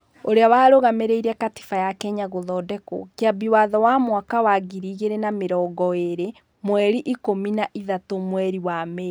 ũrĩa warũgamirie Katiba ya Kenya (Gũthondekwo) Kĩambi watho wa mwaka wa ngiri igĩrĩ na mĩrongo ĩrĩ , mweri ikũmi na ithatũ mweri wa Mĩĩ,